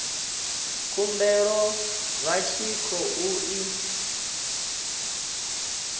khumbelo vha tshi khou i